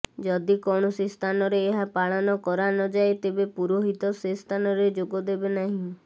ଯଦି କୌଣସି ସ୍ଥାନରେ ଏହା ପାଳନ କରା ନଯାଏ ତେବେ ପୁରୋହିତ ସେସ୍ଥାନରେ ଯୋଗଦେବେ ନାହିଁ